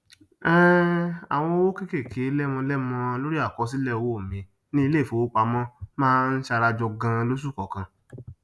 um àwọn owó kékéké lemọlemọ lórí àkọsílẹ owó mi ní iléìfowópamọ máa ń sarajọ ganan losù kọọkan